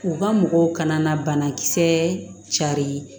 U ka mɔgɔw kana na banakisɛ carin